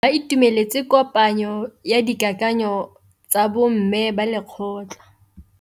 Ba itumeletse kôpanyo ya dikakanyô tsa bo mme ba lekgotla.